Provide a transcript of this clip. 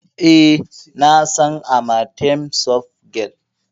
E, na san Amatem soft gel.